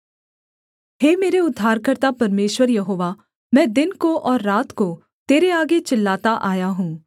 हे मेरे उद्धारकर्ता परमेश्वर यहोवा मैं दिन को और रात को तेरे आगे चिल्लाता आया हूँ